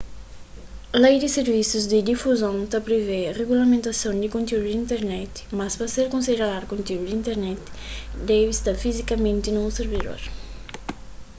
lei di sirvisus di difuzon ta privê rigulamentason di kontiúdu di internet mas pa ser konsideradu kontiúdu di internet debe sta fizikamenti na un sirvidor